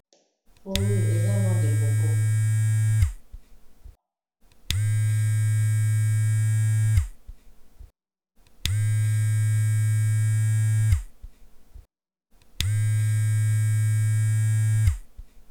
fruwi eza noir de koko